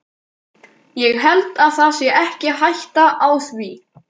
Ég held það sé ekki hætta á því.